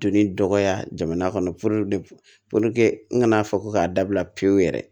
Donni dɔgɔya jamana kɔnɔ n kana fɔ ko k'a dabila pewu yɛrɛ